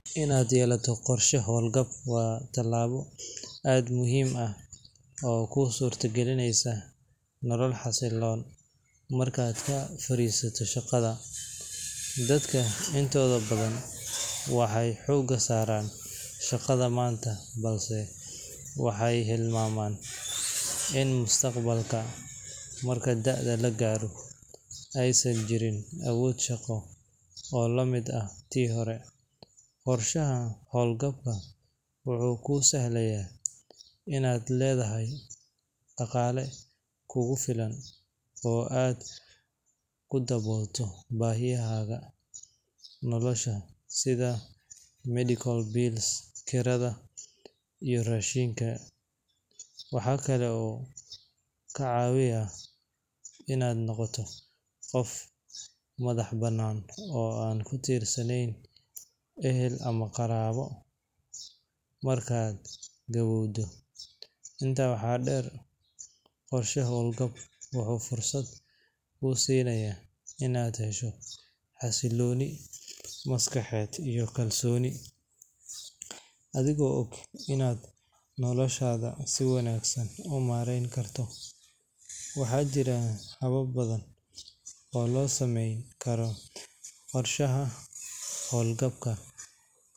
Inaad yeelato qorshe howlgab waa tallaabo aad u muhiim ah oo kuu suurtagelinaysa nolol xasilloon markaad ka fariisato shaqada. Dadka intooda badan waxay xoogga saaraan shaqada maanta, balse waxay hilmaamaan in mustaqbalka, marka da’da la gaaro, aysan jirin awood shaqo oo lamid ah tii hore. Qorshaha howlgabka wuxuu kuu sahlayaa inaad leedahay dhaqaale kugu filan oo aad ku daboolato baahiyaha nolosha sida medical bills, kirada, iyo raashinka. Waxaa kale oo uu kaa caawinayaa inaad noqoto qof madax-bannaan oo aan ku tiirsanayn ehel ama qaraabo markaad gaboowdo. Intaa waxaa dheer, qorshe howlgab wuxuu fursad kuu siinayaa inaad hesho xasillooni maskaxeed iyo kalsooni, adigoo og inaad noloshaada si wanaagsan u maarayn karto. Waxaa jira habab badan oo loo samayn karo qorshaha howlgabka.